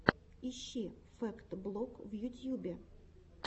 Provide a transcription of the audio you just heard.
ищи фэкт блог в ютьюбе